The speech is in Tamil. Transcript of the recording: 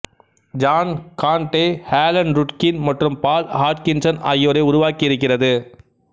ஜான் காண்டெ ஆலன் ருட்கின் மற்றும் பால் ஹாட்கின்ஸன் ஆகியோரை உருவாக்கியிருக்கிறது